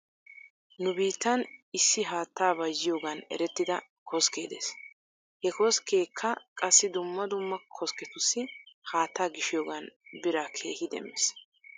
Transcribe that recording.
Nu biittan issi haattaa bayzziyoogan erettida koskkee des. He koskeekka qassi dumma dumma koskketussi haattaa gishiyoogan biraa keehi demmees .